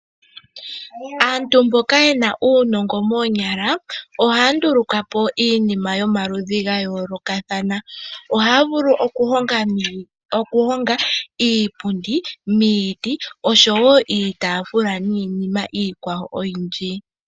Aantu mboka ye na uunongo moonyala ohaya nduluka po iinima yomaludhi ga yoolokathana. Ohaya vulu okuhonga iipundi, iitafula niinima yimwe oyindji miiti.